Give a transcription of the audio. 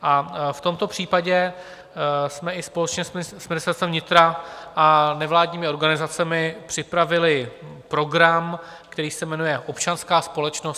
A v tomto případě jsme i společně s Ministerstvem vnitra a nevládními organizacemi připravili program, který se jmenuje Občanská společnost.